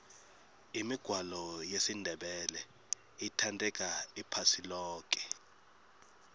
imigwalo yesindebele ithandeka iphasi loke